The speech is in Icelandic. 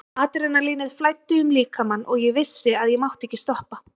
Adrenalínið flæddi um líkamann og ég vissi að ég mátti ekki stoppa.